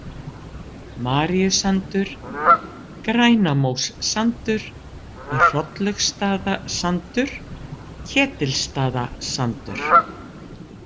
Maríusandur, Grænamóssandur, Hrolllaugsstaðasandur, Ketilsstaðasandur